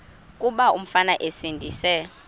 kuba umfana esindise